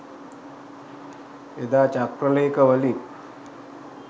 එදා චක්‍ර ‍ලේඛවලින්